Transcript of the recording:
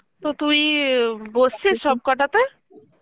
তো তুই আ বসছিস সব কটাতে?